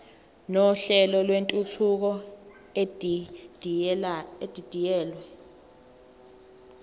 nohlelo lwentuthuko edidiyelwe